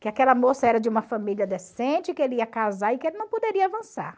Que aquela moça era de uma família decente, que ele ia casar e que ele não poderia avançar.